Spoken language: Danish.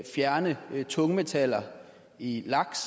fjerne tungmetaller i laks